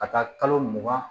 Ka taa kalo mugan